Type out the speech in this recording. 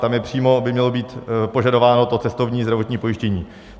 Tam je přímo, mělo by být požadováno to cestovní zdravotní pojištění.